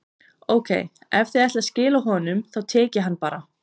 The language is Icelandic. Ókei, ef þið ætlið að skila honum, þá tek ég hann bara.